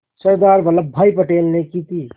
सरदार Vallabhbhai Patel ने की थी